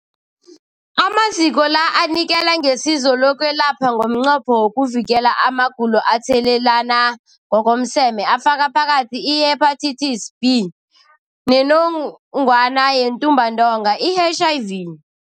Amaziko la anikela ngesizo lokwelapha ngomnqopho wokuvikela amagulo athathelana ngokomseme afaka phakathi i-Hepatitis B neNgogwana yeNtumbantonga, i-HIV.